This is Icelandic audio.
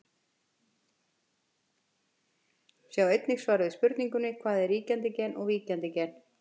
Sjá einnig svar við spurningunni Hvað er ríkjandi gen og víkjandi gen?